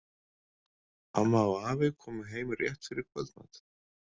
Amma og afi komu heim rétt fyrir kvöldmat.